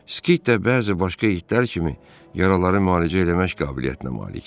Skit də bəzi başqa itlər kimi yaraları müalicə eləmək qabiliyyətinə malikdir.